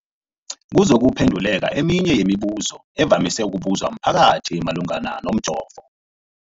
kuzokuphe nduleka eminye yemibu zo evamise ukubuzwa mphakathi malungana nomjovo.